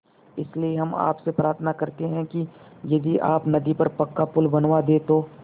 इसलिए हम आपसे प्रार्थना करते हैं कि यदि आप नदी पर पक्का पुल बनवा दे तो